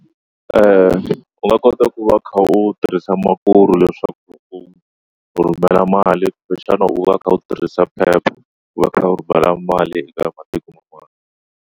U nga kota ku va u kha u tirhisa Mukuru leswaku u rhumela mali kumbexana u va u kha u tirhisa Pep ku va u kha u rhumela mali eka matiko man'wana.